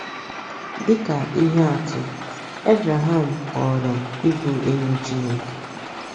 Dị ka ihe atụ, Ebreham ghọrọ ịbụ enyi Chineke.